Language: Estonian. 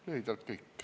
Lühidalt kõik.